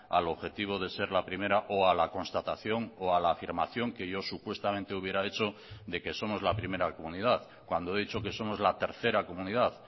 al objetivo de ser la primera o a la constatación o a la afirmación que yo supuestamente hubiera hecho de que somos la primera comunidad cuando he dicho que somos la tercera comunidad